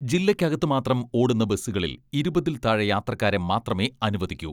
ജില്ലക്കകത്തു മാത്രം ഓടുന്ന ബസ്സുകളിൽ ഇരുപതിൽ താഴെ യാത്രക്കാരെ മാത്രമേ അനുവദിക്കൂ.